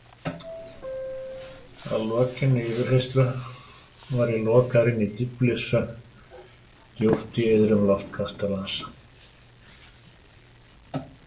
Að lokinni yfirheyrslu var ég lokaður inni í dýflissu djúpt í iðrum Loftkastalans.